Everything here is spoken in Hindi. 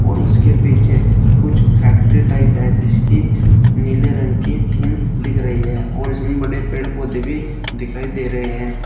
और उसके पीछे कुछ फैक्ट्री टाइप है जिसकी नीले रंग की टिन दिख रही है और इसमें बड़े पेड़ पौधे भी दिखाई दे रहे हैं।